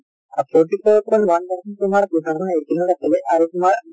আহ forty four point one percent তোমাৰ two thousand eighteen ত আছিলে আৰু তোমাৰ